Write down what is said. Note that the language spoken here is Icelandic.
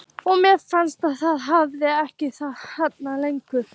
Og mér fannst ég hafa þekkt hana lengur.